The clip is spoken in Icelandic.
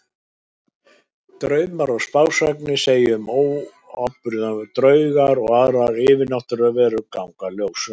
Draumar og spásagnir segja fyrir óorðna atburði, draugar og aðrar yfirnáttúrlegar verur ganga ljósum logum.